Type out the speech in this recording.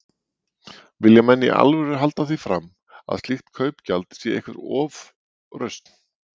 Vilja menn í alvöru halda því fram, að slíkt kaupgjald sé einhver ofrausn?